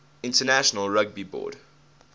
international rugby board